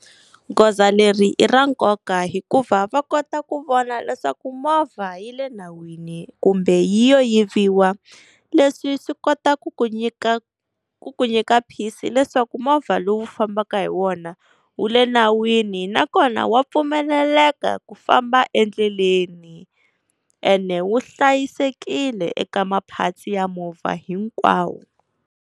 Goza leri i ra nkoka hikuva va kota ku vona leswaku movha yi le nawini kumbe yi yo yiviwa. Leswi swi kota ku ku nyika ku ku nyika peace leswaku movha lowu fambaka hi wona wu le nawini nakona wa pfumeleleka ku famba endleleni, ene wu hlayisekile eka ma-parts ya movha hinkwawo.